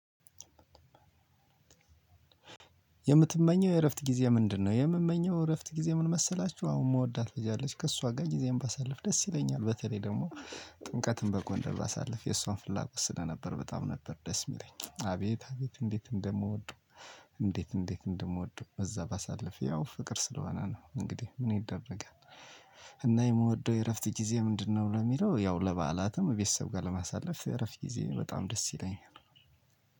የምትመኘው የእረፍት ጊዜ ምንድነው? የምመኘው እረፍት ጊዜ ምን መሰላችሁ? አሁን የምወዳት ልጅ አለች። ከእሷ ጋር ጊዜም ባሳልፍ ደስ ይለኛል። በተለይ ደግሞ ጥንቀትም በጎንደር ባሳልፍ የእሷን ፍላጎት ስደር ነበር በጣም ነበር ደስ የሚለኝ። አቤት፣ አቤት እንዴት እንደምወደው፣ እንዴት፣ እንዴት እንደምወደው በዛ ባሳልፍ። ያው ፍቅር ስለሆነ ነው እንግዲህ ምን ይደረጋል። እና የምወደው የእረፍት ጊዜ ምንድነው ለሚለው ያው ለበዓላትም ቤተሰብ ጋር ለማሳለፍ፣ እረፍት ጊዜ በጣም ደስ ይለኛል።